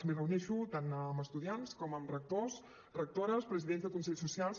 em reuneixo tant amb estudiants com amb rectors rectores presidents de consells socials